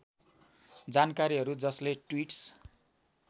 जानकारीहरू जसले ट्वीट्स